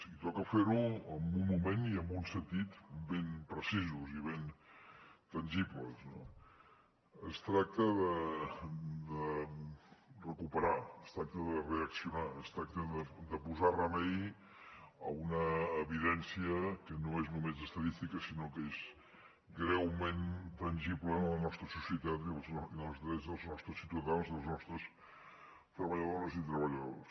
i toca fer ho en un moment i en un sentit ben precisos i ben tangibles no es tracta de recuperar es tracta de reaccionar es tracta de posar remei a una evidència que no és només estadística sinó que és greument tangible en la nostra societat i en els drets dels nostres ciutadans de les nostres treballadores i treballadors